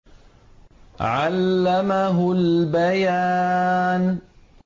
عَلَّمَهُ الْبَيَانَ